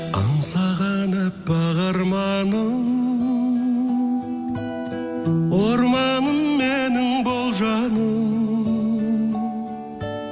аңсаған аппақ арманым орманым менің бол жаным